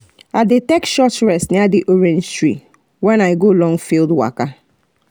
i dey take short rest near the orange tree when i go long field waka